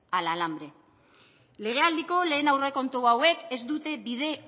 al hambre legealdiko lehen aurrekontu hauek ez dute bide